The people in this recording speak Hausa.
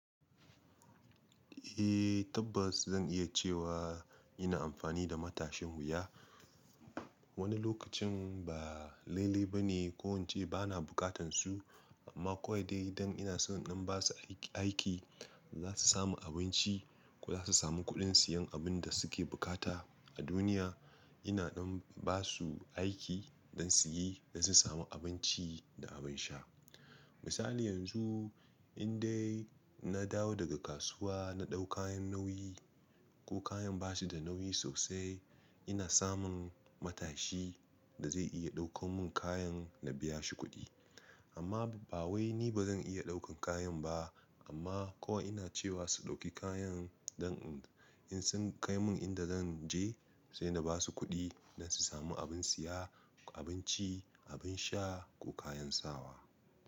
Eh tabbas zan iya cewa ina amfani da matashin wuya. Wani lokacin ba laile bane ko ince bana buƙatan su, amma kawai dai dan ina son in ɗan basu aik, zasu samu abinci, ko zasu samu kuɗin siyan abun da suke buƙata a duniya, ina ɗan basu aiki, dan suyi dan su samu abinci da abin sha. Misali yanzu in dai na dawo daga kasuwa, na ɗau kayan nauyi, ko kayan basu da nauyi sosai ina samun matashi, da zai iya ɗaukan mun kayan, na biya shi kuɗi. Amma ba wai ni bazan iya ɗaukan kayan ba, amma kawai ina cewa su ɗauki kayan dan in sun kai mun inda zan je sai na basu kuɗi, dan su samu abin siya, abinci, abin sha, ko kayan sawa.